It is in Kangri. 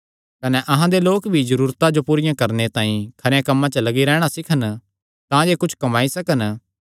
कने अहां दे लोक भी जरूरतां जो पूरियां करणे तांई खरेयां कम्मां च लग्गी रैहणा सीखन तांजे कुच्छ कम्माई सकन